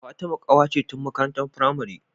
Fatima kawata ce tun makarantar pramari